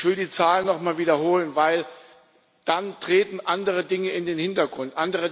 Ich will die Zahlen nochmal wiederholen, denn dann treten andere Dinge in den Hintergrund.